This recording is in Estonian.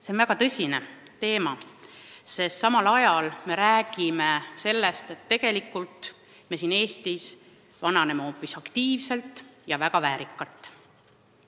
See on väga tõsine teema, sest samal ajal meie räägime sellest, et me vananeme siin Eestis hoopis aktiivselt ja väga väärikalt.